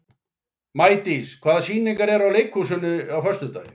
Maídís, hvaða sýningar eru í leikhúsinu á föstudaginn?